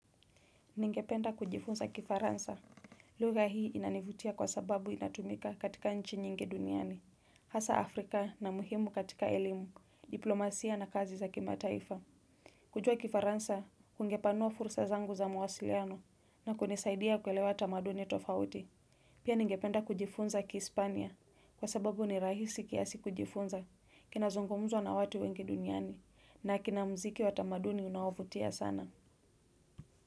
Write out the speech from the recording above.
Ningependa kujifunza kifaransa. Lugha hii inanivutia kwa sababu inatumika katika nchi nyingi duniani, hasa Afrika na muhimu katika elimu, diplomasia na kazi za kimataifa. Kujua kifaransa, kungepanua fursa zangu za mawasiliano na kunisaidia kuelewa tamaduni tofauti. Pia ningependa kujifunza kihispania kwa sababu ni rahisi kiasi kujifunza, kina zungumzwa na watu wengi duniani, na kina mziki wa tamaduni unaovutia sana.